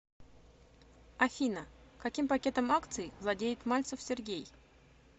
афина каким пакетом акций владеет мальцев сергей